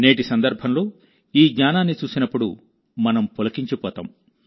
నేటి సందర్భంలో ఈ జ్ఞానాన్ని చూసినప్పుడుమనం పులకించిపోతాం